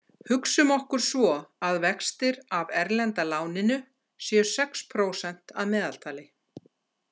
Hugsum okkur svo að vextir af erlenda láninu séu sex prósent að meðaltali.